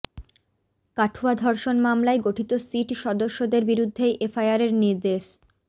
কাঠুয়া ধর্ষণ মামলায় গঠিত সিট সদস্যদের বিরুদ্ধেই এফআইআরের নির্দেশ